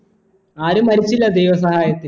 ആരും മരിച്ചില്ല ദൈവം സഹായത്തിന്